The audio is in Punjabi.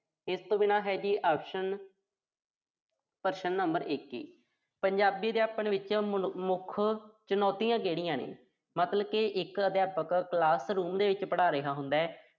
ਇਸ ਤੋਂ ਬਿਨਾਂ ਹੈ ਜੀ option ਪ੍ਰਸ਼ਨ number ਇੱਕੀ। ਪੰਜਾਬੀ ਅਧਿਆਪਨ ਵਿੱਚ ਮੁੱਖ ਚੁਣੌਤੀਆਂ ਕਿਹੜੀਆਂ ਨੇ। ਮਤਲਬ ਕਿ ਇੱਕ ਅਧਿਆਪਕ classroom ਦੇ ਵਿੱਚ ਪੜ੍ਹਾ ਰਿਹਾ ਹੁੰਦਾ।